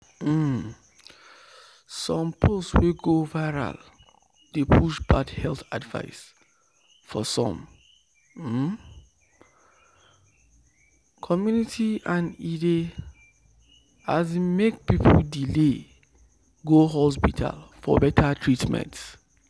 um some post wey go viral dey push bad health advice for some um community and e dey um make people delay go hospital for better treatment."